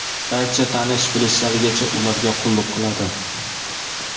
barcha tanish-bilishlarigacha ularga qulluq qiladi.